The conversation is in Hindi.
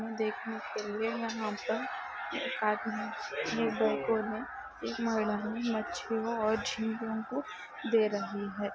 देखने के लिए यहाँ पर एक आदमी ने एक महिला मच्छियों और झिगो को दे रही है।